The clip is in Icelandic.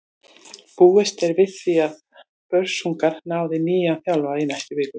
Búist er við því að Börsungar ráði nýjan þjálfara í næstu viku.